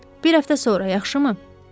Bir həftə sonra, yaxşımı?